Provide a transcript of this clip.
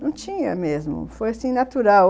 Não tinha mesmo, foi assim, natural.